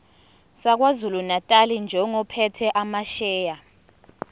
sakwazulunatali njengophethe amasheya